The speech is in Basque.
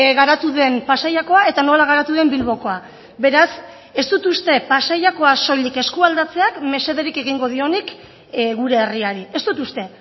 garatu den pasaiakoa eta nola garatu den bilbokoa beraz ez dut uste pasaiakoa soilik eskualdatzeak mesederik egingo dionik gure herriari ez dut uste